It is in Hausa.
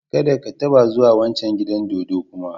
Kada ka taba zuwa wancan gidan dodo kuma!